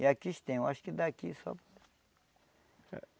E aqui a gente tem, eu acho que daqui só.